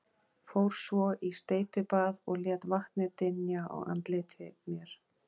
Fór svo í steypibað og lét vatnið dynja á andliti mér.